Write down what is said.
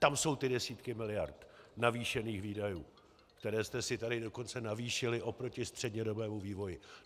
Tam jsou ty desítky miliard navýšených výdajů, které jste si tady dokonce navýšili oproti střednědobému vývoji.